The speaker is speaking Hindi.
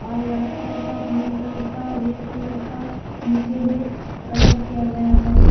और व्हाइट कलर का ग्रीन कलर का रेड कलर का नीचे में कलर किया गया है।